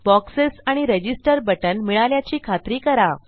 boxes आणि register button मिळाल्याची खात्री करा